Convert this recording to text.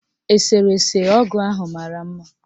Eserese ọgụ ahụ mara mma.